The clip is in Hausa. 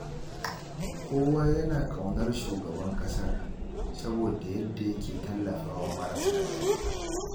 Kowa yana ƙaunar shugaban ƙasar, saboda yadda yake tallafawa marasa gata.